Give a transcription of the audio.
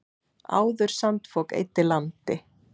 Áður sandfok eyddi landi.